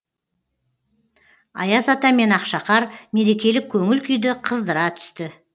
аяз ата мен ақшақар мерекелік көңіл күйді қыздыра түсті